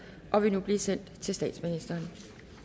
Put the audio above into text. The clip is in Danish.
og vil nu blive sendt til statsministeren